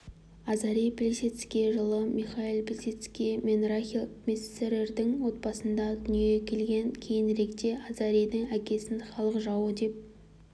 азарий плисецкий жылы михаил плисецкий менрахиль мессерердің отбасында дүниеге келген кейініректе азаридің әкесін халық жауы деп